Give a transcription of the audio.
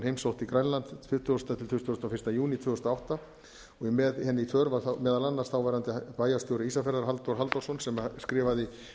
heimsótti grænland tuttugasta til tuttugasta og fyrsta júní tvö þúsund og átta með henni í för var þá meðal annars þáverandi bæjarstjóri ísafjarðar halldór halldórsson sem skrifaði